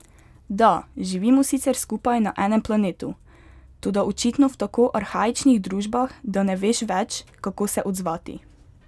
Da, živimo sicer skupaj na enem planetu, toda očitno v tako arhaičnih družbah, da ne veš več, kako se odzvati.